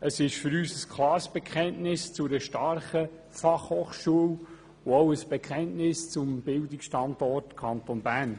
Es ist für uns ein klares Bekenntnis zu einer starken Fachhochschule und auch ein Bekenntnis zum Bildungsstandort Bern.